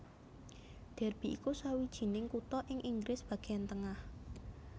Derby iku sawijining kutha ing Inggris bagéan tengah